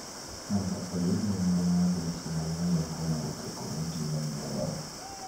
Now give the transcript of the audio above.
mondo oyud nonro mar weche manyien kowuok e komiti mar jolony